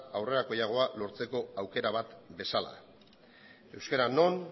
aurrerakoiagoa lortzeko aukera bat bezala euskara non